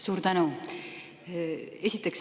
Suur tänu!